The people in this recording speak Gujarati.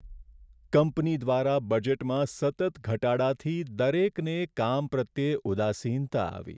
કંપની દ્વારા બજેટમાં સતત ઘટાડાથી દરેકને કામ પ્રત્યે ઉદાસીનતા આવી.